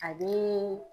A bi